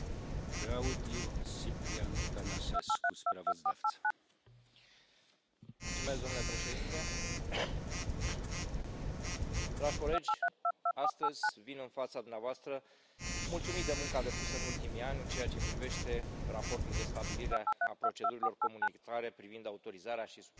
Domnule președinte, dragi colegi, astăzi vin în fața dumneavoastră mulțumit de munca depusă în ultimii ani în ceea ce privește Raportul de stabilire a procedurilor comunitare privind autorizarea și supravegherea medicamentelor de uz uman și veterinar și de instituire a unei Agenții Europene